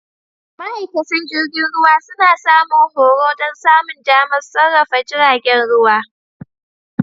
Ma'aikatan jirgin ruwa suna samun horo don samun damar sarrafa jiragen ruwa.